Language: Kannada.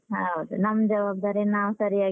ಹೌದು ನಮ್ ಜವಾಬ್ದಾರಿ ನಾವ್ ಸರ್ಯಾಗಿ.